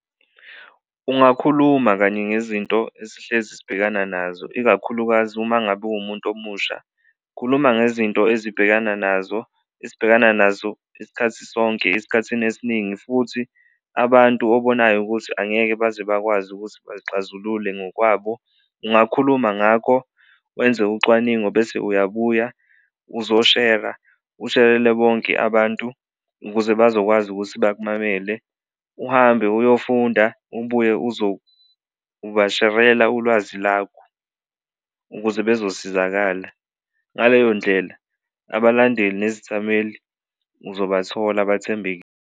Ungakhuluma kanye ngezinto esihlezi esibhekana nazo ikakhulukazi uma ngabe uwumuntu omusha, khuluma ngezinto ezibhekana nazo esibhekana nazo isikhathi sonke esikhathini esiningi futhi abantu obonayo ukuthi angeke baze bakwazi ukuthi bazixazulule ngokwabo, ungakhuluma ngakho wenze ucwaningo. Bese uyabuya uzoshera usherele bonke abantu ukuze bazokwazi ukuthi bakumamele, uhambe uyofunda ubuye uzobasherela ulwazi lwakho ukuze bezosizakala, ngaleyo ndlela abalandeli nezithameli uzobathola abathembekile.